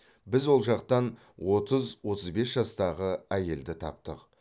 біз ол жақтан отыз отыз бес жастағы әйелді таптық